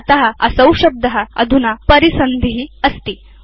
अत असौ शब्द अधुना परिसन्धि अस्ति